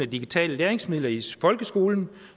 af digitale læringsmidler i folkeskolen